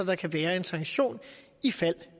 der kan være en sanktion ifald